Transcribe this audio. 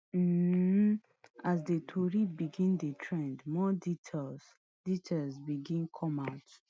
um as di tori begin trend more details details begin come out